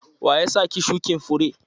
Wa ya sa ki shukin fure?